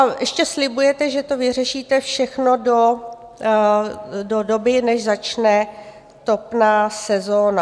A ještě slibujete, že to vyřešíte všechno do doby, než začne topná sezóna.